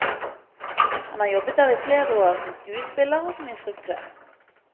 Han har jobbet der i flere år som skuespiller og som instruktør.